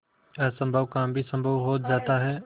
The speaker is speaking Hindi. असम्भव काम भी संभव हो जाता है